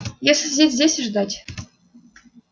если сидеть здесь и ждать